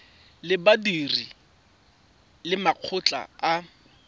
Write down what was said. ya badiri le makgotla a